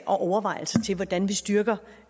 og overvejelser til hvordan vi styrker